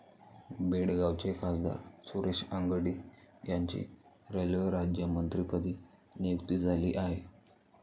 बेळगावचे खासदार सुरेश अंगडी यांची रेल्वे राज्यमंत्रीपदी नियुक्ती झाली आहे.